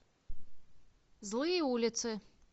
злые улицы